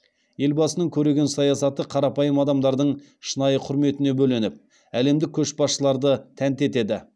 елбасының көреген саясаты қарапайым адамдардың шынайы құрметіне бөленіп әлемдік көшбасшыларды тәнті етеді